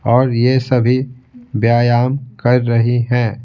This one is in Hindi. और यह सभी व्यायाम कर रही हैं।